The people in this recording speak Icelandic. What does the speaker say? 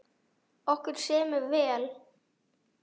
Okkur semur vel